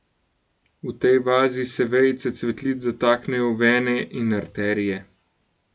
V tej vazi se vejice cvetlic zataknejo v vene in arterije.